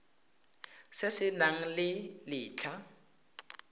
se se nang le letlha